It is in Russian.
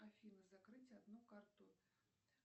афина закрыть одну карту